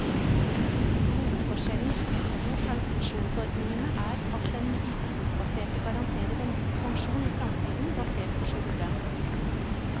Hovedforskjellen på de to pensjonsordningene er at den ytelsesbaserte garanterer en viss pensjon i fremtiden, basert på sluttlønn.